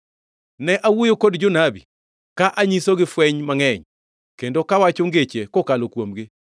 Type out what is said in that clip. Ne awuoyo kod jonabi, ka anyisogi fweny mangʼeny, kendo kawacho ngeche kokalo kuomgi.”